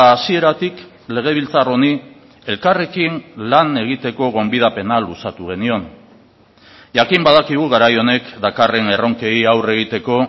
hasieratik legebiltzar honi elkarrekin lan egiteko gonbidapena luzatu genion jakin badakigu garai honek dakarren erronkei aurre egiteko